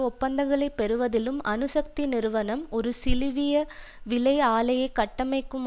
ஒப்பந்தங்களைப் பெறுவதிலும் அணுசக்தி நிறுவனம் ஒரு சிலிவிய விலை ஆலையை கட்டமைக்கும்